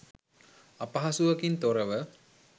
අපහසුවකින් තොරව